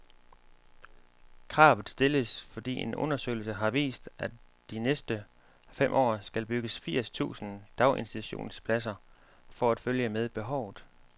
Kravet stilles, fordi en undersøgelse har vist, at der de næste fem år skal bygges firs tusind daginstitutionspladser for at følge med behovet.